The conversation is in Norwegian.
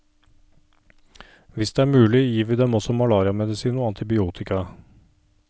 Hvis det er mulig, gir vi dem også malariamedisin og antibiotika.